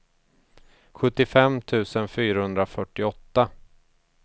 sjuttiofem tusen fyrahundrafyrtioåtta